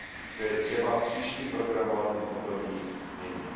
To je třeba v příštím programovacím období změnit.